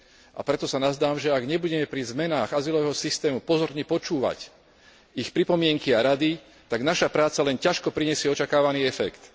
A preto sa nazdávam, že ak nebudeme pri zmenách azylového systému pozorne počúvať ich pripomienky a rady, tak naša práca len ťažko prinesie očakávaný efekt.